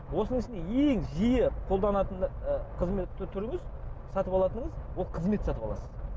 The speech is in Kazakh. осының ішінде ең жиі қолданатын қызмет түріңіз сатып алатыныңыз ол қызмет сатып аласыз